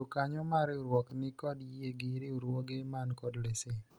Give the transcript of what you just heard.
jokanyo mar riwruok nikod yie gi riwruoge man kod lesen